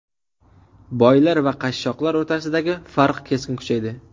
Boylar va qashshoqlar o‘rtasidagi farq keskin kuchaydi.